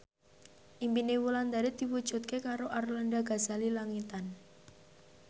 impine Wulandari diwujudke karo Arlanda Ghazali Langitan